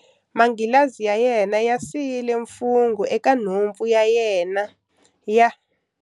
Manghilazi ya yena ya siyile mifungho eka nhompfana ya nhompfu ya yena ya.